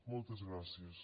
moltes gràcies